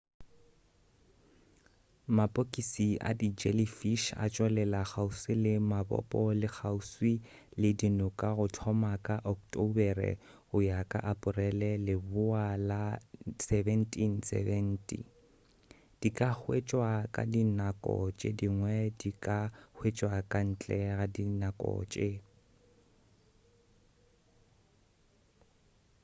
mapokisi a di jellyfish a tšwelela kgauswi le mabopo le kgauswi le dinoka go thoma ka ocktobere go ya ka aporele leboa la 1770 di ka hwetšwa ka dinako tše dingwe di ka hwetšwa ka ntle go dinako tše